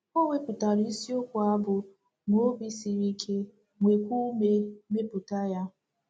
O wepụtara isiokwu a bụ́ “ Nwee Obi siri Ike, Nwekwa Ume, Mepụta Ya. ”